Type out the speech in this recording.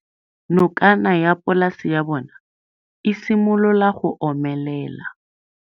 Nokana ya polase ya bona, e simolola go omelela.